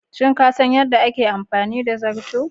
Shin kasan yadda ake amfani da zarto?